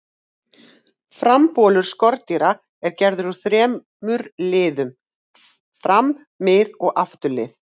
Frambolur skordýra er gerður úr þremur liðum, fram-, mið-, og afturlið.